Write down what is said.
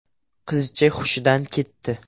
Qizcha hushidan ketdi.